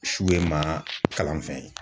Su ye maa kalan fɛn ye